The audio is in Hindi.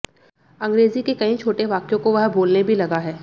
अंग्रेजी के कई छोटे वाक्यों को वह बोलने भी लगा है